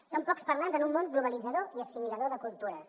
som pocs parlants en un món globalitzador i assimilador de cultures